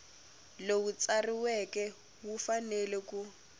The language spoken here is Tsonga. lowu tsariweke wu fanele ku